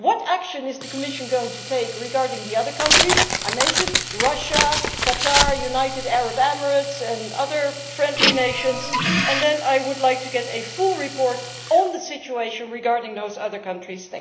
What action is the Commission going to take regarding the other countries that I mentioned, such as Russia, Qatar, the United Arab Emirates and other friendly nations? Then I would like to get a full report on the situation regarding those other countries.